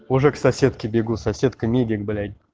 мужик соседки бегу соседка медика блять